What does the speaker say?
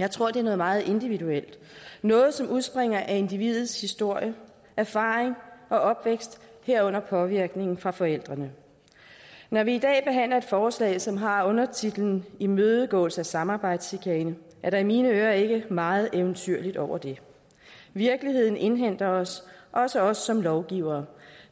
jeg tror det er noget meget individuelt noget som udspringer af individets historie erfaring og opvækst herunder påvirkningen fra forældrene når vi i dag behandler et forslag som har undertitlen imødegåelse af samarbejdschikane med er der i mine ører ikke meget eventyr over det virkeligheden indhenter os også os som lovgivere